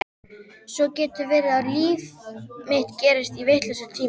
Svo getur verið að líf mitt gerist í vitlausri tímaröð.